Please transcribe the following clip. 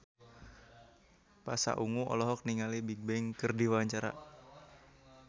Pasha Ungu olohok ningali Bigbang keur diwawancara